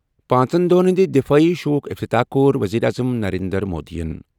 پانٛژن دۄہَن ہٕنٛدِ دِفٲعی شووُک افتتاح کوٚر ؤزیٖر اعظم نریندر مودیَن ۔